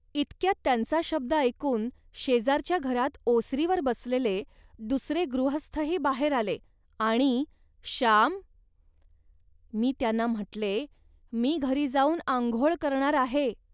इतक्यात त्यांचा शब्द ऐकून शेजारच्या घरात ओसरीवर बसलेले दुसरे गृहस्थही बाहेर आले आणि "श्याम. मी त्यांना म्हटले, "मी घरी जाऊन आंघोळ करणार आहे